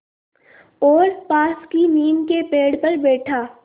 और पास की नीम के पेड़ पर बैठा